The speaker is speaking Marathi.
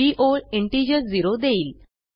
ही ओळ इंटिजर झेरो देईल